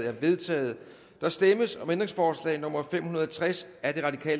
er vedtaget der stemmes om ændringsforslag nummer fem hundrede og tres af